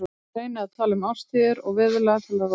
Ég reyni að tala um árstíðir og veðurlag til að róa hann.